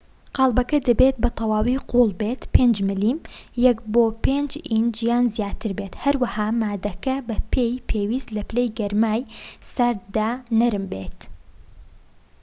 قاڵبەکە دەبێت بە تەواوی قووڵ بێت، 5 ملم 1 / 5 ئینچ یان زیاتر بێت، هەروەها ماددەکە بە پێی پێویست لە پلەی گەرمای سارددا نەرم بێت